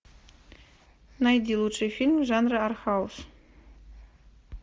найди лучшие фильмы жанра артхаус